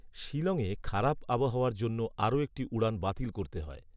শিলংয়ে খারাপ আবহাওয়ার জন্য আরও একটি উড়ান বাতিল করতে হয়